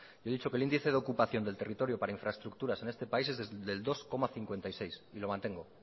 yo he dicho que el índice de ocupación del territorio para infraestructuras en este país es del dos coma cincuenta y seis y lo mantengo